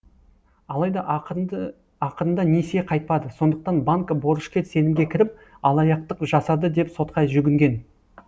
алайда ақырында несие қайтпады сондықтан банк борышкер сенімге кіріп алаяқтық жасады деп сотқа жүгінген